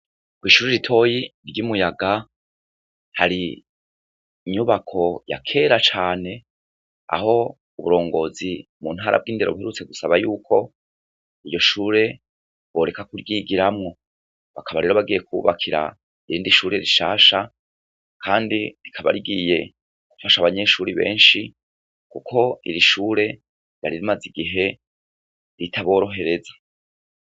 Kwishure ritoya ryimuyaga, hari inyubako ya kera cane, aho uburongozi muntara bwindero buherutse gusabako yuko iyoshure boreka kuryigiramwo, bakaba rero bagiye kububakira irindi shure rishasha, kandi rikaba rigiye gufasha abanyeshure benshi kuko irishure ryari rimaze igihe ritaborohereza.